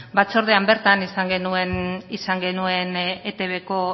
batzordean bertan izan genuen eitbko